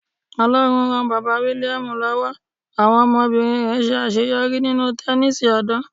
Ọlọ́run ran Bàbá William lọ́wọ́, àwọn ọmọbìnrin rẹ̀ ṣe àṣeyọrí nínú Tẹnísì ọ̀dàn.